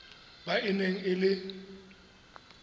ba e neng e le